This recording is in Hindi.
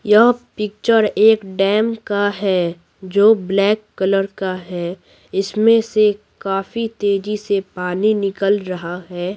यह पिक्चर एक डैम का है जो ब्लैक कलर का है इसमें से काफी तेजी से पानी निकल रहा है।